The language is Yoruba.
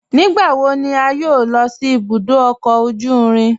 Nígbàwọ̀ ní à yọ́ò lọ sí ìbùdó ọkọ ojú ìrìn?